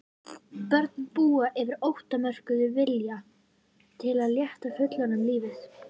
Börn búa yfir ótakmörkuðum vilja til að létta fullorðnum lífið.